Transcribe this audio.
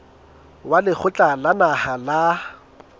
wa lekgotla la naha la